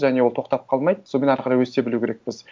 және ол тоқтап қалмайды сонымен ары қарай өсе білу керекпіз